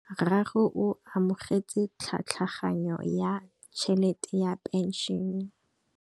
Rragwe o amogetse tlhatlhaganyô ya tšhelête ya phenšene.